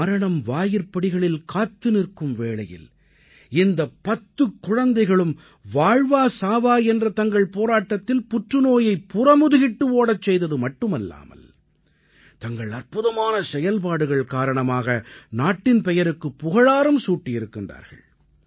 மரணம் வாயிற்படிகளில் காத்து நிற்கும் வேளையில் இந்த பத்துக் குழந்தைகளும் வாழ்வா சாவா என்ற தங்கள் போராட்டத்தில் புற்றுநோயைப் புறமுதுகிட்டு ஓடச்செய்தது மட்டுமல்லாமல் தங்கள் அற்புதமான செயல்பாடுகள் காரணமாக நாட்டின் பெயருக்கு புகழாரம் சூட்டியிருக்கிறார்கள்